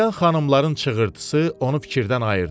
Birdən xanımların çığırtısı onu fikirdən ayırdı.